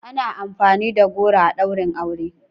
Ana amfani da goro a ɗaurin aure.